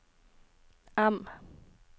M